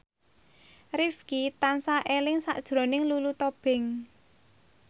Rifqi tansah eling sakjroning Lulu Tobing